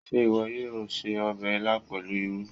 Ṣé ìwọ yóò se ọbẹ̀ ilá pẹ̀lú irú?